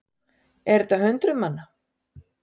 Er þetta hundruð manna?